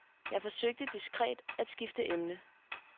Jeg forsøgte diskret at skifte emne.